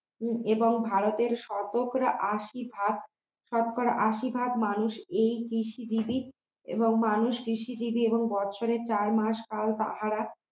এবং ভারতের শতকরা আশি ভাগ শতকরা আশি ভাগ মানুষ এই কৃষিজীবী এবং মানুষ কৃষিজীবী এবং বছরে চার মাস তাও তাহারা